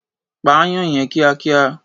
Pa aáyán yẹn kíákíá.